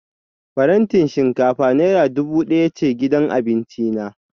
Farantin shinkafa naira dubu daya ce gidan abinci na